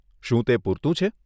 શું તે પૂરતું છે?